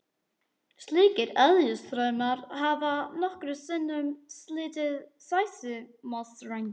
Slíkir eðjustraumar hafa nokkrum sinnum slitið sæsímastrengi.